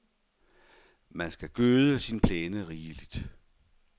Man skal gøde sin plæne rigeligt.